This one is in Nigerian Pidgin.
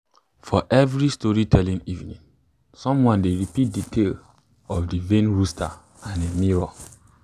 for every storytelling evening someone dey repeat de tale of de vain rooster and im mirror